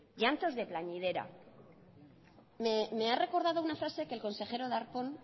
llantos de plañidera me ha recordado una frase que el consejero darpón